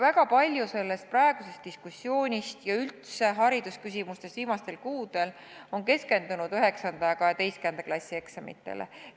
Väga palju sellest praegusest diskussioonist ja üldse haridusküsimustest on viimastel kuudel keskendunud 9. ja 12. klassi eksamitele.